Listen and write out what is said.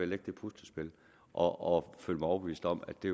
lægge det puslespil og føle mig overbevist om at det